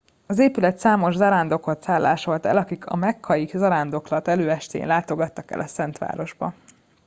az épület számos zarándokot szállásolt el akik a mekkai zarándoklat előestéjén látogattak el a szent városba